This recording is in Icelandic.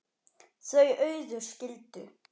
Þau Auður skildu.